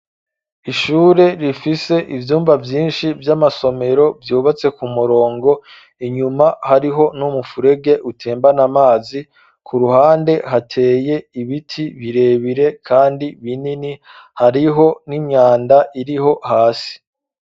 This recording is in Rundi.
Ishure, rifise ivyumba vyinshi, vy'amasomero, vyubatse ku murongo; inyuma, hariho n'umufurege, utembana amazi; ku ruhande, hateye ibiti birebire, kandi binini, hariho n'imyanda, iriho hasi.